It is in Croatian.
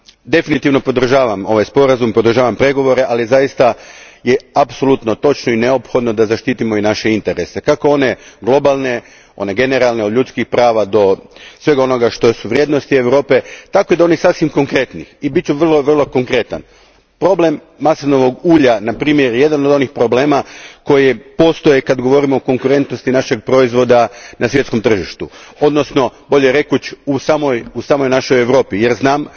Definitivno podržavam ovaj sporazum, podržavam pregovore, ali zaista je apsolutno točno i neophodno da zaštitimo i naše interese, kako one globalne, one generalne od ljudskih prava do svega onoga što su vrijednosti Europe tako i do onih sasvim konkretnih i bit ću vrlo, vrlo konkretan problem maslinovog ulja je na primjer jedan od onih problema koji postoje kad govorimo o konkurentnosti našeg proizvoda na svjetskom tržištu, odnosno bolje je reći, u samoj našoj Europi jer znam